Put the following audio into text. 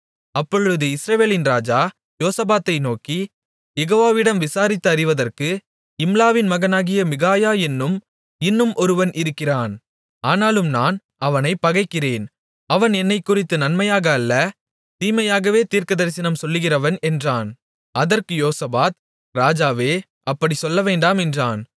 அப்பொழுது இஸ்ரவேலின் ராஜா யோசபாத்தை நோக்கி யெகோவாவிடம் விசாரித்து அறிவதற்கு இம்லாவின் மகனாகிய மிகாயா என்னும் இன்னும் ஒருவன் இருக்கிறான் ஆனாலும் நான் அவனைப் பகைக்கிறேன் அவன் என்னைக்குறித்து நன்மையாக அல்ல தீமையாகவே தீர்க்கதரிசனம் சொல்லுகிறவன் என்றான் அதற்கு யோசபாத் ராஜாவே அப்படிச் சொல்லவேண்டாம் என்றான்